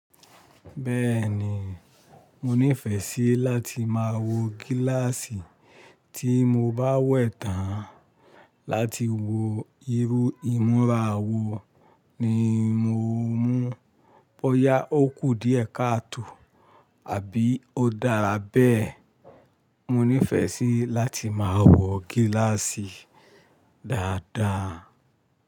Bẹ́ẹ̀ni, mo nífẹsí láti máa wo gíláàsì. Tí mo bá wẹ̀ẹ̀ tán láti wo irú ìmúra wo ni mo mú. Bóyá okù díẹ̀ kàtò àbí ó dára bẹ́ẹ̀. Mo nífẹ́sí láti máa wo gíláàsì dáadáa.